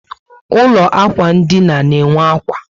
Ụlọ ákwà ndina na enwe ákwà